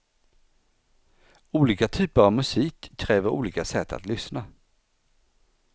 Olika typer av musik kräver olika sätt att lyssna.